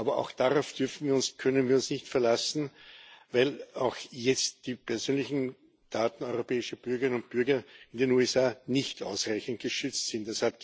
Aber auch darauf können wir uns nicht verlassen, weil auch jetzt die persönlichen Daten europäischer Bürgerinnen und Bürger in den USA nicht ausreichend geschützt sind.